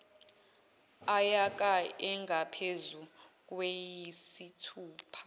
yaka engaphezu kweyisithupha